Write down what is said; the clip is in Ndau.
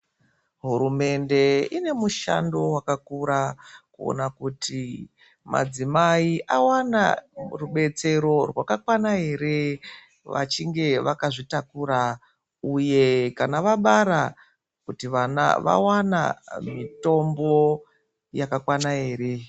Hurumende ine mushando wakakura mukuona kuti madzimai awana rubetsero rwakakwana ere vachinge vakazvitakura uye kana vabara kuti vana vawana mitombo yakakwana ere.